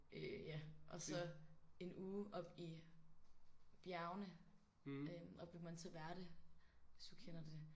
Øh ja og så en uge op i bjergene øh op ved Monteverde hvis du kender det